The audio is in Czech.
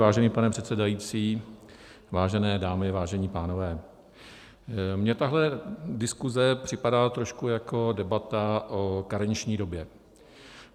Vážený pane předsedající, vážené dámy, vážení pánové, mně tahle diskuze připadá trošku jako debata o karenční době.